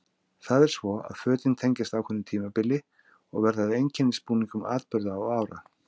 Það er svo að fötin tengjast ákveðnu tímabili og verða að einkennisbúningum atburða og ára.